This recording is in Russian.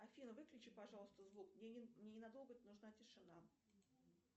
афина выключи пожалуйста звук мне не надолго нужна тишина